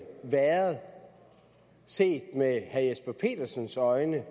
set med herre jesper petersens øjne